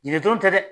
Yiri dɔrɔn tɛ dɛ